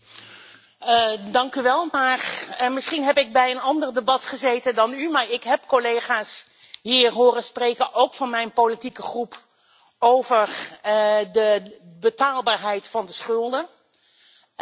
Misschien heb ik bij een ander debat gezeten dan u maar ik heb collega's hier horen spreken, ook van mijn fractie, over de betaalbaarheid van de schulden en dat is een belangrijk punt.